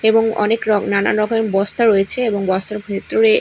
এবং অনেকরকম নানান রকমের বস্তা রয়েছে এবং বস্তার ভেতরে--